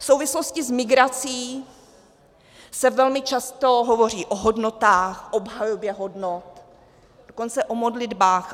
V souvislosti s migrací se velmi často hovoří o hodnotách, obhajobě hodnot, dokonce o modlitbách.